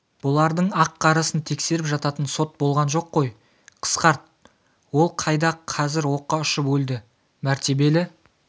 бұлардың ақ-қарасын тексеріп жататын сот болған жоқ қой қысқарт ол қайда қазір оққа ұшып өлді мәртебелі